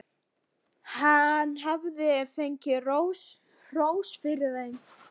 Hann hafði fengið hrós fyrir þær.